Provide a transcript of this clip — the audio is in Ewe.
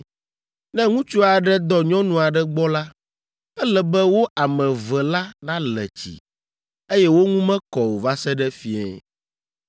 Ne ŋutsu aɖe dɔ nyɔnu aɖe gbɔ la, ele be wo ame eve la nale tsi, eye wo ŋu mekɔ o va se ɖe fiẽ.